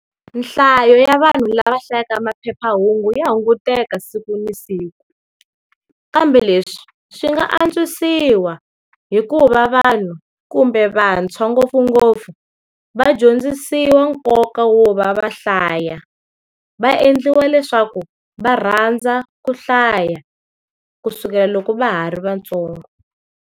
Nhlayo ya vanhu lava hlayaka maphephahungu ya hunguteka siku na siku. Kambe leswi, swi nga antswisiwa hi ku va vanhu, kumbe vantshwa ngopfungopfu, va dyondzisiwa nkoka wo va va hlaya. Va endliwa leswaku va rhandza ku hlaya, kusukela loko va ha ri vatsongo.